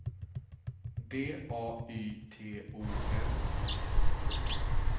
D A Y T O N